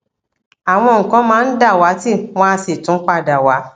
àwọn nǹkan máa ń dàwátì wọn á sì tún padà wá